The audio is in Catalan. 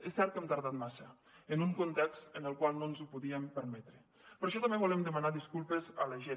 és cert que hem tardat massa en un context en el qual no ens ho podíem permetre per això també volem demanar disculpes a la gent